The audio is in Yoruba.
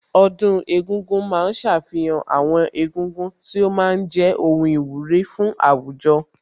Ọdún egúngún ma ń ṣàfihàn àwọn egúngún tí ó ma ń jẹ́ ohun ìwúrí fún àwùjọ